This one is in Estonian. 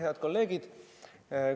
Head kolleegid!